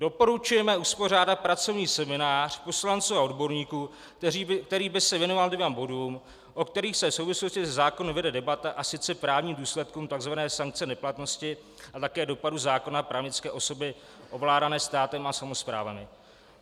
Doporučujeme uspořádat pracovní seminář poslanců a odborníků, který by se věnoval dvěma bodům, o kterých se v souvislosti se zákony vede debata, a sice právním důsledkům tzv. sankce neplatnosti a také dopadu zákona právnické osoby ovládané státem a samosprávami.